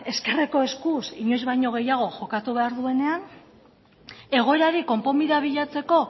ezkerreko eskuz inoiz baino gehiago jokatu behar duenean egoerari konponbidea bilatzeko